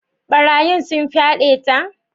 Barayin sun fyade ta?